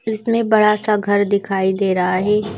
इसमें बड़ा सा घर दिखाई दे रहा है।